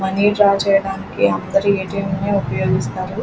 Money draw చేయడానికి అందరూ ATM. నీ ఉపయోగిస్తారు.